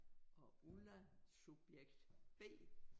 Og Ulla subjekt B